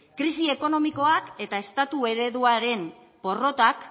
krisi ekonomikoak eta estatu ereduaren porrotak